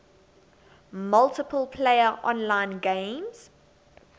multiplayer online games